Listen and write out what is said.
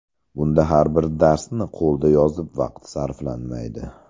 Bunda har bir darsni qo‘lda yozib vaqt sarflanmaydi.